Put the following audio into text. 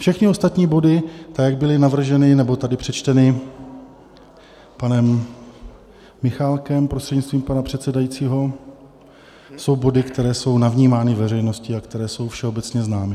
Všechny ostatní body tak, jak byly navrženy nebo tady přečteny panem Michálkem, prostřednictvím pana předsedajícího, jsou body, které jsou navnímány veřejností a které jsou všeobecně známy.